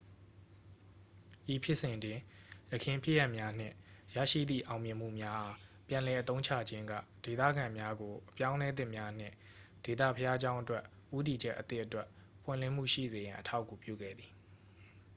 ဤဖြစ်စဉ်တွင် ယခင်ဖြစ်ရပ်များနှင့် ရရှိသည့် အောင်မြင်မှုများအား ပြန်လည်အသုံးချခြင်းက ဒေသခံများကို အပြောင်းအလဲသစ်များနှင့် ဒေသဘုရားကျောင်းအတွက် ဦးတည်ချက်အသစ်အတွက် ပွင့်လင်းမှုရှိစေရန် အထောက်အကူပြုခဲ့သည်